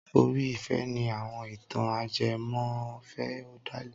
Orí ìfẹ́ ni àwọn ìtàn ajẹmọ́fẹ̀ẹ́ dálé.